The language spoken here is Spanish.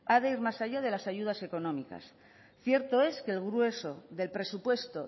ha de ir más allá de las ayudas económicas cierto es que el grueso del presupuesto